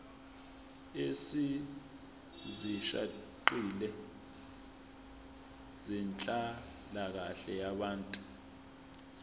ezisihaqile zenhlalakahle yabantu